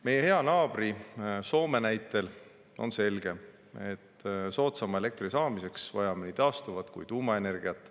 Meie hea naabri Soome näitel on selge, et soodsama elektri saamiseks vajame nii taastuvat kui tuumaenergiat.